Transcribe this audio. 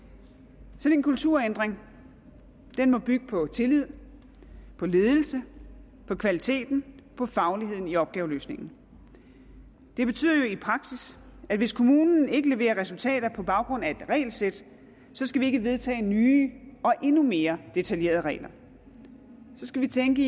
sådan en kulturændring må bygge på tillid på ledelse på kvalitet på faglighed i opgaveløsningen det betyder jo i praksis at hvis kommunen ikke leverer resultater på baggrund af et regelsæt skal vi ikke vedtage nye og endnu mere detaljerede regler så skal vi tænke